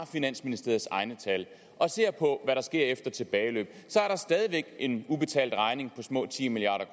finansministeriets egne tal og ser på hvad der sker efter tilbageløb så er der stadig væk en ubetalt regning på små ti milliard